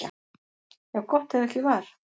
Jú, gott ef ekki var.